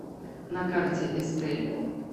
на карте эстель